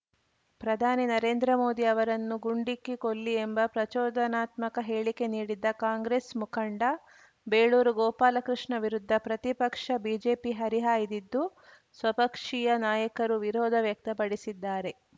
ಪ್ರಧಾನಿ ನರೇಂದ್ರ ಮೋದಿ ಅವರನ್ನು ಗುಂಡಿಕ್ಕಿ ಕೊಲ್ಲಿ ಎಂಬ ಪ್ರಚೋದನಾತ್ಮಕ ಹೇಳಿಕೆ ನೀಡಿದ್ದ ಕಾಂಗ್ರೆಸ್‌ ಮುಖಂಡ ಬೇಳೂರು ಗೋಪಾಲಕೃಷ್ಣ ವಿರುದ್ಧ ಪ್ರತಿಪಕ್ಷ ಬಿಜೆಪಿ ಹರಿಹಾಯ್ದಿದ್ದು ಸ್ವಪಕ್ಷೀಯ ನಾಯಕರೂ ವಿರೋಧ ವ್ಯಕ್ತಪಡಿಸಿದ್ದಾರೆ